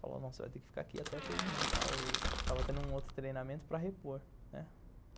Falou, não, você vai ter que ficar aqui até terminar tal... Tava tendo um outro treinamento para repor, né?